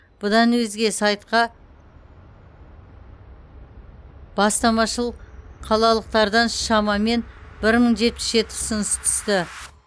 бұдан өзге сайтқа бастамашыл қалалықтардан шамамен бір мың жетпіс жеті ұсыныс түсті